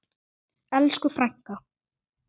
Elsku frænka.